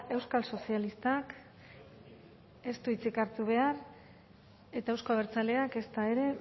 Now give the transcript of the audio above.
euskal sozialistak ez du hitzik hartu behar eta euzko abertzaleak ezta ere